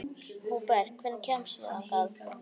Húbert, hvernig kemst ég þangað?